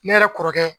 Ne yɛrɛ kɔrɔkɛ